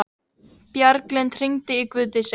Bjarglind, hringdu í Guðdísi.